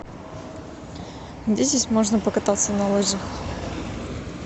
где здесь можно покататься на лыжах